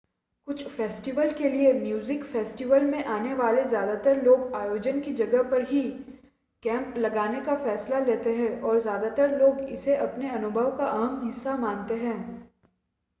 कुछ फ़ेस्टिवल के लिए म्यूज़िक फ़ेस्टिवल में आने वाले ज़्यादातर लोग आयोजन की जगह पर ही कैंप लगाने का फ़ैसला लेते हैं और ज़्यादातर लोग इसे अपने अनुभव का अहम हिस्सा मानते हैं